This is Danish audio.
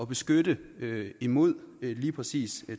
beskytte imod lige præcis